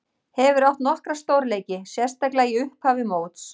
Hefur átt nokkra stórleiki, sérstaklega í upphafi móts.